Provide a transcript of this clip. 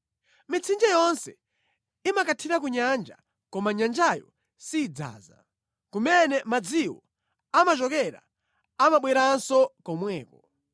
Mitsinje yonse imakathira ku nyanja, koma nyanjayo sidzaza; kumene madziwo amachokera, amabwereranso komweko.